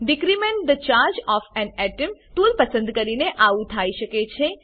decrement the charge of an atom tool પસંદ કરીને આવું થાઈ શકે છે